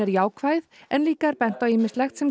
jákvæð en líka er bent á ýmislegt sem